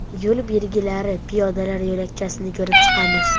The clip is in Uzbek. Yo‘l belgilari, piyodalar yo‘lakchasini ko‘rib chiqamiz.